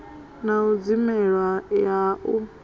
na u dzimelwa ha u